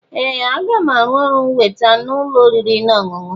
Ee! Aga m arụ ọrụ weta n'ụlọ oriri na ọṅụṅụ.